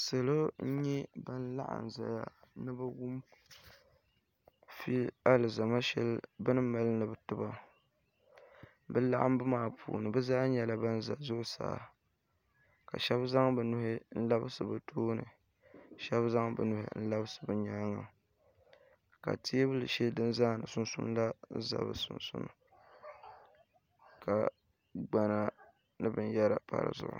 salo n-nyɛ ban laɣim n-zaya ni bɛ wum alizama shɛli bɛ ni mali ni bɛ ti ba bɛ laɣimbu maa puuni bɛ zaa nyɛla ban za zuɣusaa ka shɛba zaŋ bɛ nuhi n-labisi bɛ tooni ka shɛba zaŋ bɛ nuhi labisi bɛ nyaaŋa ka teebuli shɛli din zaani sunsuuni la za bɛ sunsuuni ka gbana ni binyɛra pa di zuɣu